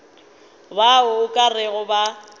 bao o ka rego ba